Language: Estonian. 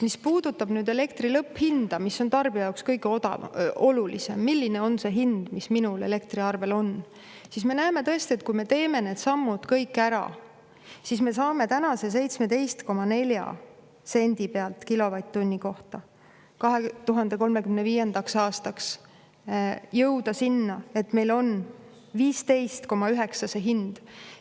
Mis puudutab nüüd elektri lõpphinda, mis on tarbija jaoks kõige olulisem – milline on see hind, mis minul elektriarvel on –, siis me näeme tõesti, et kui me teeme need sammud kõik ära, siis me saame tänaselt 17,4 sendilt kilovatt-tunni kohta 2035. aastaks jõuda sinna, et meil on 15,9 see hind.